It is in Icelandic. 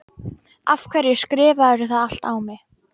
Af hverju skrifarðu það allt á mig?